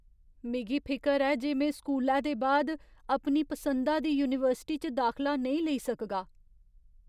मिगी फिकर ऐ जे में स्कूलै दे बाद अपनी पसंदा दी यूनीवर्सिटी च दाखला नेईं लेई सकगा।